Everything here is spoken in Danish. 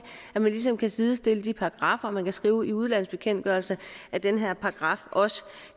ligesom kan sidestille de paragraffer og man kan skrive i udlandsbekendtgørelsen at den her paragraf også